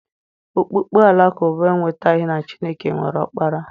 Okpukpe Alakụba ekwetaghị na Chineke nwere Ọkpara.